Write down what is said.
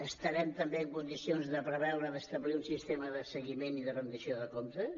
estarem també en condicions de preveure d’establir un sistema de seguiment i de rendició de comptes